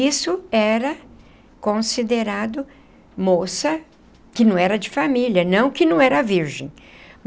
Isso era considerado moça que não era de família, não que não era virgem.